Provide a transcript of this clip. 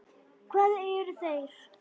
Hvað eru þeir?